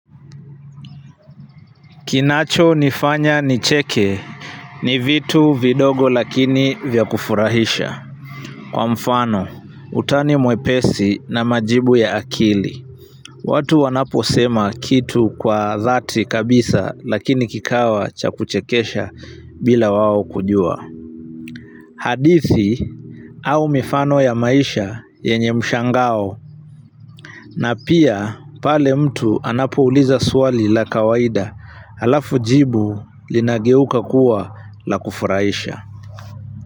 Kinacho nifanya nicheke ni vitu vidogo lakini vya kufurahisha. Kwa mfano, utani mwepesi na majibu ya akili. Watu wanaposema kitu kwa dhati kabisa lakini kikawa cha kuchekesha bila wao kujua. Hadithi au mifano ya maisha yenye mshangao. Na pia pale mtu anapouliza swali la kawaida, alafu jibu linageuka kuwa la kufurahisha.